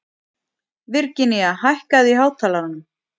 Virginía, hækkaðu í hátalaranum.